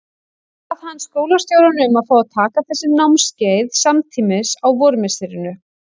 Bað hann skólastjórann um að fá að taka þessi námskeið samtímis á vormisserinu.